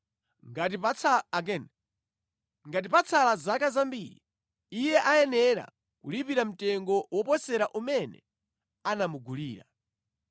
Ngati patsala zaka zambiri, iye ayenera kulipira mtengo woposera umene anamugulira.